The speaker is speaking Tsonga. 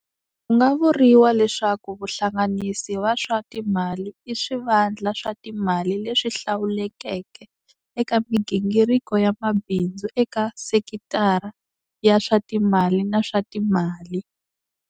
Ku nga vuriwa leswaku vahlanganisi va swa timali i swivandla swa timali leswi hlawulekeke eka migingiriko ya mabindzu eka sekithara ya swa timali na swa timali.